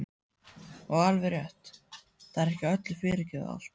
Og alveg rétt, það er ekki öllum fyrirgefið allt.